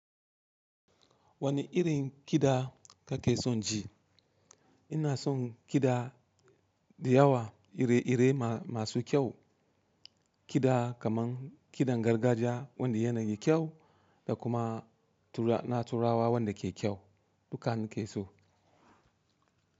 Wane irin kiɗa kake son ji? Ina son kiɗa da yawa, ire-ire masu kyau, kiɗa kaman kiɗan gargajiya wanda yana da kyau da kuma na turawa wanda ke kyau, dukka ni ke so.